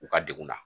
U ka degun na